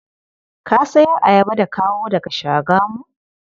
Ka sayar ayaba da kawo daga Shagamu?